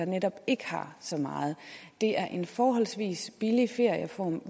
netop ikke har så meget det er en forholdsvis billig ferieform